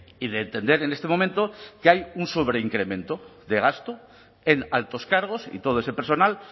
y de entender en este momento que hay un sobreincremento de gasto en altos cargos y todo ese personal